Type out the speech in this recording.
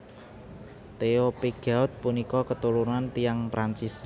Theo Pigeaud punika keturunan tiyang Prancis